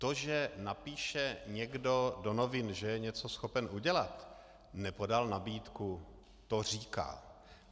To, že napíše někdo do novin, že je něco schopen udělat, nepodal nabídku, to říká.